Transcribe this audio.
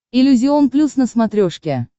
иллюзион плюс на смотрешке